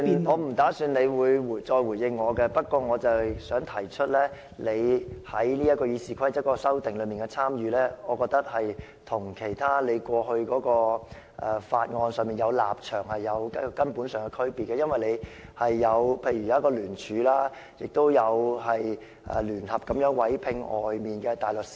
我沒有預算你會再回應我，不過我想提出，你參與《議事規則》的修訂，與你過去對處理法案的立場有根本上的區別，例如你有參與聯署，亦有聯合委聘外界的大律師。